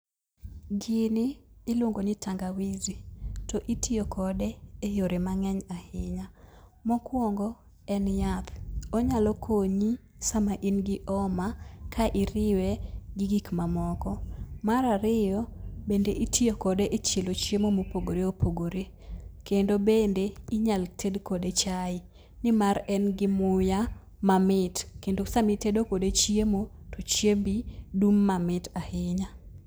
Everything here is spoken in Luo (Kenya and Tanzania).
Gini iluongo ni tangawizi to itiyo kode e yore mang'eny ahinya . Mokwongo en yath , onyalo konyi sama in gi oma ka iriwe gi gik mamoko. Mar ariyo, bende itiyo kode e chielo chiemo mopogore opogore kendo bende inyal tedo kode chai nimar en gi muya mamit kendo sami tedo kode chiemo , to chiembi dum mamit ahinya.